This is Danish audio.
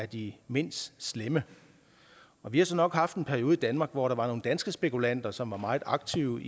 de mindst slemme vi har så nok haft en periode i danmark hvor der var nogle danske spekulanter som var meget aktive